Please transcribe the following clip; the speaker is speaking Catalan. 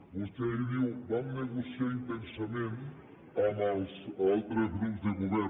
vostè ahir diu vam negociar intensament amb els altres grups de govern